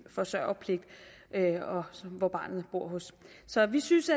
forsørgerpligt og som barnet bor hos så vi synes